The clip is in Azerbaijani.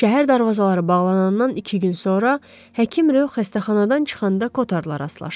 Şəhər darvazaları bağlanandan iki gün sonra həkim Rö xəstəxanadan çıxanda Kotarla rastlaşdı.